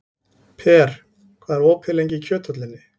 Per, hvað er lengi opið í Kjöthöllinni?